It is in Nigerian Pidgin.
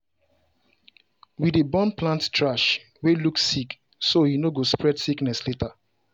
we dey burn plant trash wey look sick so e no go spread sickness later.